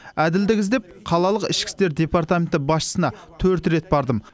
әділдік іздеп қалалық ішкі істер департаменті басшысына төрт рет бардым